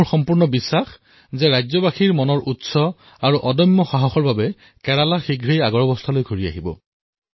মোৰ বিশ্বাস যে ৰাজ্যখনৰ লোকসকলৰ অদম্য সাহসৰ বলত কেৰালা অতি শীঘ্ৰেই মূৰ দাঙি উঠিব